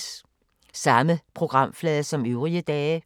Samme programflade som øvrige dage